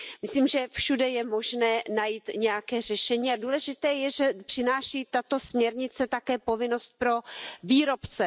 Myslím, že všude je možné najít nějaké řešení a důležité je, že přináší tato směrnice také povinnost pro výrobce.